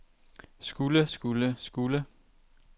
skulle skulle skulle